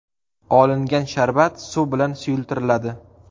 Olingan sharbat suv bilan suyultiriladi.